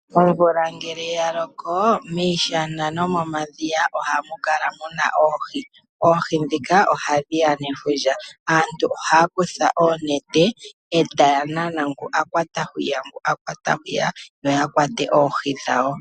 Omvula ngele ya loko, miishana nomomadhiya ohamu kala muna oohi, oohi ndhika ohadhi ya nefundja. Aantu ohaya kutha oonete etaya nana ngu akwata hwiya opo yakwate oohi dhawo.